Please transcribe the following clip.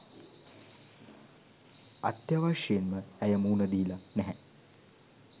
අත්‍යවශ්‍යයෙන්ම ඇය මුහුණ දීලා නෑ.